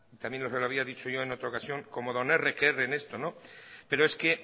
y también se lo había dicho en otra ocasión como don erre que erre en esto pero es que